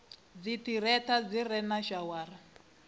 dziṱhirakha zwi re na shawara